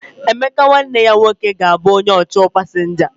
Emeka nwanne ya nwoke ga-abụ onye ọchọọ pasinja.